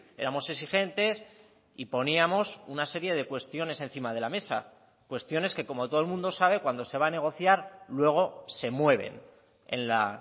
éramos exigentes y poníamos una serie de cuestiones encima de la mesa cuestiones que como todo el mundo sabe cuando se va a negociar luego se mueven en la